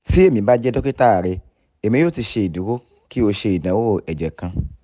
ti emi ba jẹ dokita rẹ emi yoo ti ṣeduro ki o ṣe idanwo ẹjẹ kan